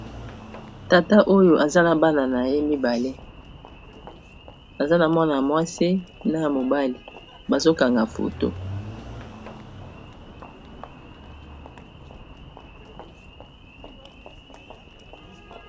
tata oyo aza na bana na ye mibale aza na mwana mwasi na mobali bazokanga foto